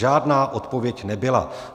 Žádná odpověď nebyla.